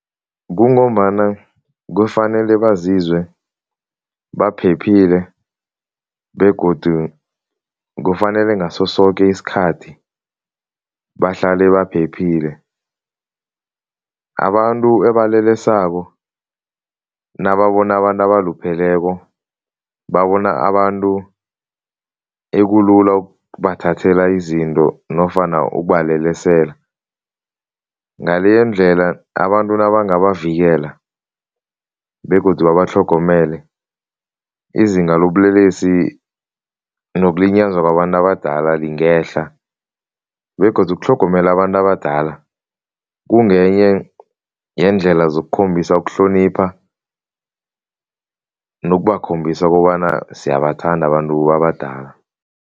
Kungombana kufanele bazizwe baphephile begodu kufanele ngaso soke isikhathi bahlale baphephile. Abantu ebalelesako nababona abantu abalupheleko, babona abantu ekulula ukubathathela izinto nofana ukubalelesela. Ngaleyondlela abantu nabangabavikela begodu batlhogomele, izinga lobulelesi nokulinyazwa kwabantu abadala lingehla begodu ukutlhogomela abantu abadala kungenye yeendlela zokukhambisa ukuhlonipha nokubakhombisa kobana siyabathanda abantu abadala.